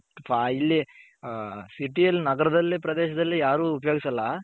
ಹ city ಅಲ್ಲಿ ನಗರದಲ್ಲಿ ಪ್ರದೇಶದಲ್ಲಿ ಯಾರು ಉಪಯೋಗಿಸಲ್ಲ.